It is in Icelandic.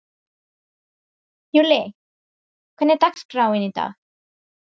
Júlli, hvernig er dagskráin í dag?